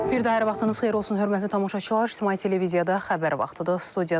Bir daha hər vaxtınız xeyir olsun, hörmətli tamaşaçılar, İctimai televiziyada xəbər vaxtıdır.